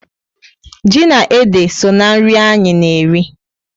Ji na ede so na nri anyị na eri